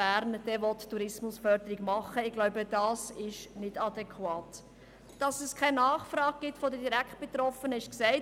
Es ist zudem für uns ein wichtiges Argument, dass es keine Nachfrage seitens der Direktbetroffenen gibt.